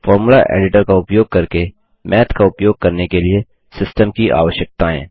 formula editor का उपयोग करके माथ का उपयोग करने के लिए सिस्टम की आवश्यकताएँ